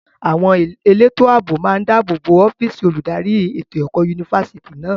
Àwọn elétò ààbò máa ń dàbò bo ọ́físì olùdarí ètò ẹ̀kọ́ yunifásítì náà.